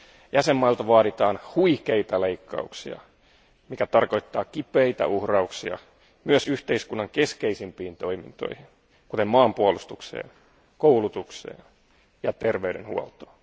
Jäsenvaltioilta vaaditaan huikeita leikkauksia, mikä tarkoittaa kipeitä uhrauksia myös yhteiskunnan keskeisimpiin toimintoihin, kuten maanpuolustukseen, koulutukseen ja terveydenhuoltoon.